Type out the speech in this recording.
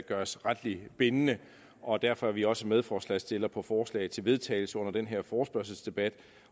gøres retligt bindende og derfor er vi også medforslagsstiller på forslaget til vedtagelse under den her forespørgselsdebat